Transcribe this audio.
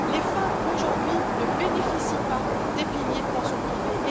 Les femmes, aujourd'hui, ne bénéficient pas des piliers des pensions privées.